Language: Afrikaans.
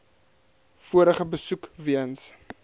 vorige besoek weens